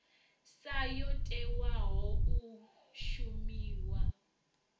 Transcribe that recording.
sa yo tewaho u shumiwa